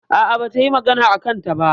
A'a, bata yi magana a kansa ba.